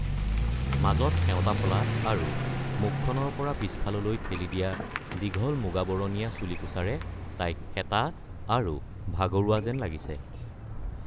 মাজত সেওঁতা ফলা আৰু মুখখনৰ পৰা পিছফাললৈ ঠেলি দিয়া দীঘল মুগাবৰণীয়া চুলিকোছাৰে তাইক শেঁতা আৰু ভাগৰুৱা যেন লাগিছে।